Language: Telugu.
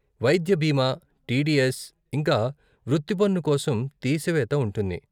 వైద్య బీమా, టీడీఎస్, ఇంకా వృత్తి పన్ను కోసం తీసివేత ఉంటుంది.